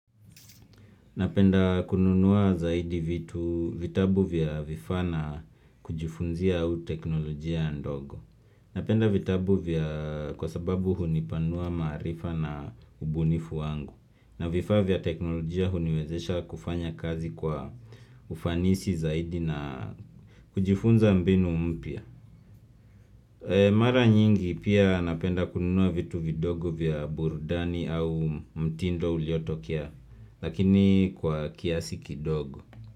Napenda kununua zaidi vitu vitabu vya vifaa na kujifunzia au teknolojia ndogo. Napenda vitabu vya kwa sababu hunipanua maarifa na ubunifu wangu. Na vifaa vya teknolojia huniwezesha kufanya kazi kwa ufanisi zaidi na kujifunza mbinu mpya. Mara nyingi pia napenda kununua vitu vidogo vya burudani au mtindo uliotokea. Lakini kwa kiasi kidogo.